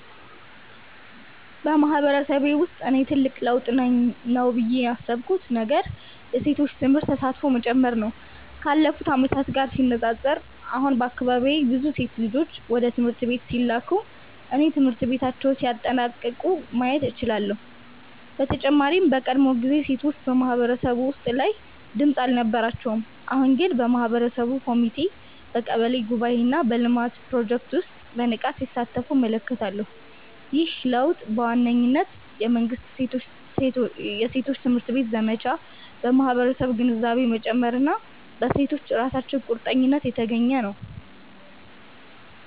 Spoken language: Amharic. በማህበረሰቤ ውስጥ እኔ ትልቅ ለውጥ ነው ብዬ ያሰብኩት ነገር የሴቶች ትምህርት ተሳትፎ መጨመር ነው። ካለፉት ዓመታት ጋር ሲነጻጸር፣ አሁን በአካባቢዬ ብዙ ሴት ልጆች ወደ ትምህርት ቤት ሲላኩ እና ትምህርታቸውን ሲያጠናቅቁ ማየት እችላለሁ። በተጨማሪም በቀድሞ ጊዜ ሴቶች በማህበረሰብ ውሳኔ ላይ ድምጽ አልነበራቸውም፤ አሁን ግን በማህበረሰብ ኮሚቴዎች፣ በቀበሌ ጉባኤዎች እና በልማት ፕሮጀክቶች ውስጥ በንቃት ሲሳተፉ እመለከታለሁ። ይህ ለውጥ በዋነኝነት በመንግሥት የሴቶች ትምህርት ዘመቻ፣ በማህበረሰብ ግንዛቤ መጨመር እና በሴቶቹ ራሳቸው ቁርጠኝነት የተገኘ ነው።